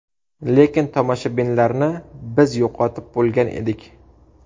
Lekin tomoshabinlarni biz yo‘qotib bo‘lgan edik.